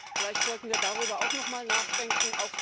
Vielleicht sollten wir darüber auch nochmal nachdenken.